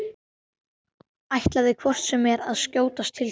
Ætlaði hvort sem er að skjótast til þín.